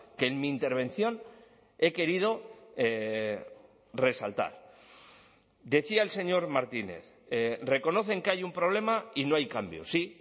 que en mi intervención he querido resaltar decía el señor martínez reconocen que hay un problema y no hay cambios sí